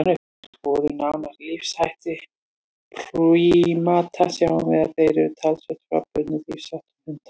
Ef við skoðum nánar lífshætti prímata sjáum við að þeir eru talsvert frábrugðnir lífsháttum hunda.